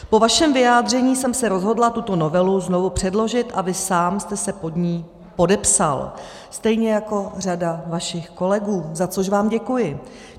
Po vašem vyjádření jsem se rozhodla tuto novelu znovu předložit a vy sám jste se pod ni podepsal, stejně jako řada vašich kolegů, za což vám děkuji.